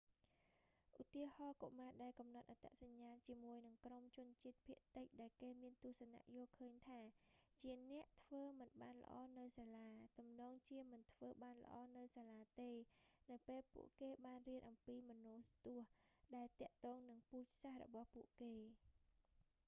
ឧទាហរណ៍ កុមារដែលកំណត់អត្តសញ្ញាណជាមួយនឹងក្រុមជនជាតិភាគតិច ដែលគេមានទស្សនៈយល់ឃើញថា ជាអ្នកធ្វើមិនបានល្អនៅសាលា ទំនងជាមិនធ្វើបានល្អនៅសាលាទេនៅពេលពួកគេបានរៀនអំពីមនោទស្សន៍ ដែលទាក់ទងនឹងពូជសាសន៍របស់ពួកគេ